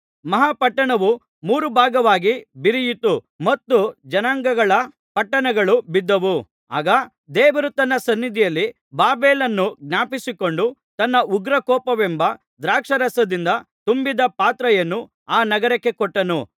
ಮಹಾ ಪಟ್ಟಣವು ಮೂರು ಭಾಗವಾಗಿ ಬಿರಿಯಿತು ಮತ್ತು ಜನಾಂಗಗಳ ಪಟ್ಟಣಗಳು ಬಿದ್ದವು ಆಗ ದೇವರು ತನ್ನ ಸನ್ನಿಧಿಯಲ್ಲಿ ಬಾಬೆಲನ್ನು ಜ್ಞಾಪಿಸಿಕೊಂಡು ತನ್ನ ಉಗ್ರಕೋಪವೆಂಬ ದ್ರಾಕ್ಷಾರಸದಿಂದ ತುಂಬಿದ ಪಾತ್ರೆಯನ್ನು ಆ ನಗರಕ್ಕೆ ಕೊಟ್ಟನು